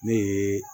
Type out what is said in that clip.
Ne ye